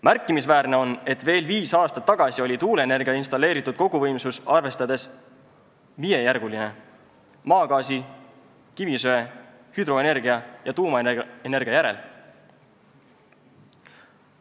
Märkimisväärne on, et veel viis aastat tagasi oli tuuleenergia installeeritud koguvõimsusi arvestades viiendajärguline maagaasi, kivisöe, hüdroenergia ja tuumaenergia järel.